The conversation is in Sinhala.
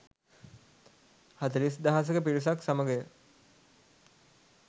හතළිස් දහසක පිරිසක් සමගය.